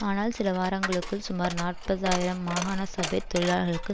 ஆனால் சிலவாரங்களுக்குள் சுமார் நாற்பது ஆயிரம் மாகாண சபை தொழிலாள்களுக்கு